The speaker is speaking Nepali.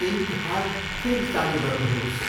इन्कहार्ट फेरि चालु गर्नुहोस्।